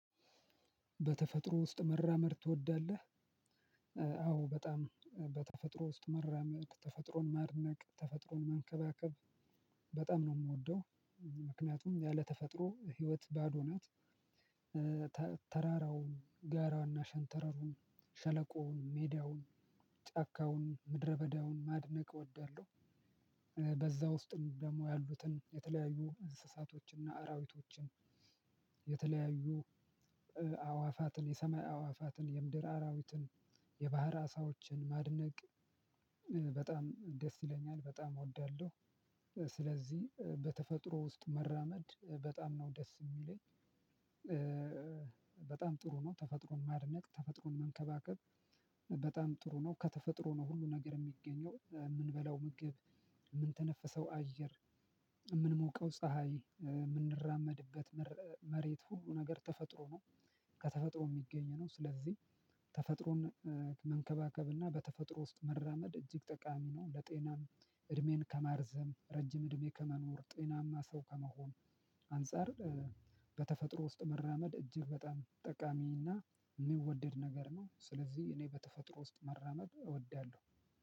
በተፈጥሮ ውስጥ መራመድ ትወዳለህ? አዎ። በጣም በተፈጥሮ ውስጥ መራመድ፣ ተፈጥሮን ማድነቅ፣ ተፈጥሮን መንከባከብ፣ በጣም ነው የምወደው። ምክንያቱም ያለ ተፈጥሮ ህይወት ባዶ ናት። ተራራውን ጋራውንና ሸንተረሩን ሸለቆውን ሜዳውን ጫካውን ምድረበዳውን ማድነቅ እወዳለሁ። በዛ ውስጥም ደግሞ ያሉትን የተለያዩ እንስሳቶችንና አራዊቶችን የተለያዩ አዕዋፋትን የሰማይ አዕዋፋትን የምድር አራዊትን የባህር አሳዎችን ማድነቅ በጣም ደስ ይለኛል በጣም እወዳለሁ። ስለዚህ በተፈጥሮ ውስጥ መራመድ በጣም ነው ደስ የሚለኝ። በጣም ጥሩ ነው ተፈጥሮን ማድነቅ ተፈጥሮን መንከባከብ በጣም ጥሩ ነው። ከተፈጥሮ ነው ሁሉ ነገር የሚገኘው። የምንበላው ምግብ የምንተነፍሰው አየር የምንሞቀው ፀሀይ የምንራመድበት መር መሬት ሁሉ ነገር ተፈጥሮ ነው። ከተፈጥሮ የሚገኝ ነው። ስለዚህ ተፈጥሮን መንከባከብና በተፈጥሮ ውስጥ መራመድ እጅግ ጠቃሚ ነው። ለጤናም እድሜን ከማርዘም ረጅም እድሜ ከመኖር ጤናማ ሰው ከመሆን አንፃር በተፈጥሮ ውስጥ መራመድ እጅግ በጣም ጠቃሚ እና የሚወደድ ነገር ነው። ስለዚህ እኔ በተፈጥሮ ውስጥ መራመድ እወዳለሁ።